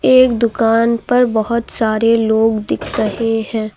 एक दुकान पर बहोत सारे लोग दिख रहे हैं।